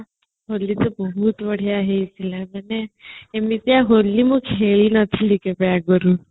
ହୋଲି ତ ବହୁତ ବଢିଆ ହେଇଥିଲା ମାନେ ଏମିତିଆ ହୋଲି ମୁଁ ଖେଳି ନଥିଲି କେବେ ଆଗରୁ